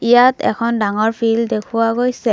ইয়াত এখন ডাঙৰ ফিল্ড দেখুওৱা গৈছে।